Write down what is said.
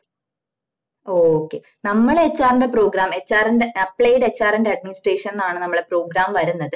ഓ okay നമ്മള HR ന്റെ programmer ന്റെ appliedhrand administration ന്നാണ് നമ്മള program വരുന്നത്